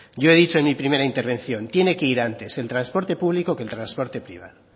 yo he dicho en primera intervención tiene que ir antes el transporte público que el transporte privado